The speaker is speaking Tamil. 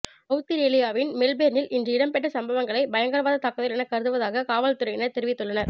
அவுஸ்திரேலியாவின் மெல்பேர்னில் இன்று இடம்பெற்ற சம்பவங்களை பயங்கரவாத தாக்குதல் என கருதுவதாக காவல்துறையினர் தெரிவித்துள்ளனர்